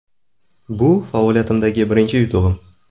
Bu faoliyatimdagi birinchi yutug‘im.